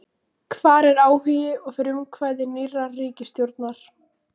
Hvar er áhugi og frumkvæði nýrrar ríkisstjórnar?